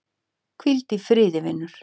Hvíl í friði vinur.